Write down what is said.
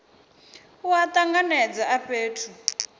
a u tanganedza a fhethu